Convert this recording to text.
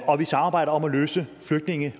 og at vi samarbejder om at løse flygtninge